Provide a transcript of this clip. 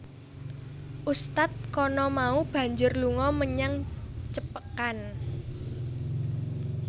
Ustadz kana mau banjur lunga menyang Cepekan